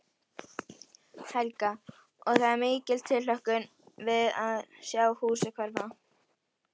Helga: Og er mikil tilhlökkun við að sjá húsið hverfa?